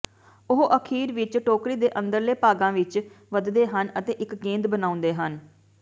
ਉਹ ਅਖ਼ੀਰ ਵਿਚ ਟੋਕਰੀ ਦੇ ਅੰਦਰਲੇ ਭਾਗਾਂ ਵਿਚ ਵਧਦੇ ਹਨ ਅਤੇ ਇਕ ਗੇਂਦ ਬਣਾਉਂਦੇ ਹਨ